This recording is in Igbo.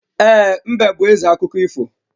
E, mbe bú ézè akụkọ ifo